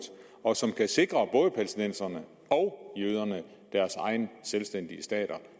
og som kan sikre både palæstinenserne og jøderne deres egne selvstændige stater